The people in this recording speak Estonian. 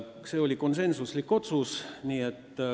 See oli konsensuslik otsus.